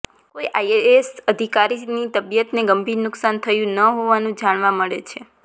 કોઈ આઈએએસ અધિકારીની તબીયતને ગંભીર નુકશાન થયું ન હોવાનું જાણવા મળે છે